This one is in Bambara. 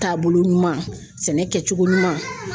Taabolo ɲuman, sɛnɛ kɛcogo ɲuman